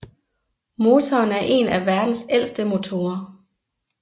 Motoren er en af verdens ældste motorer